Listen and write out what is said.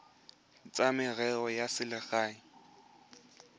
tsa merero ya selegae kgotsa